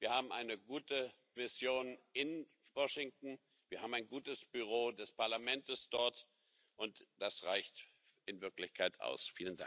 Wir haben eine gute Mission in Washington, wir haben ein gutes Büro des Parlaments dort, und das reicht in Wirklichkeit aus.